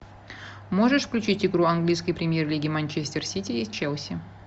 можешь включить игру английской премьер лиги манчестер сити и челси